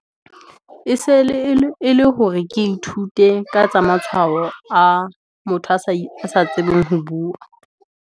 E sele e le hore ke ithute, ka tsa matshwao a motho asa tsebeng ho bua.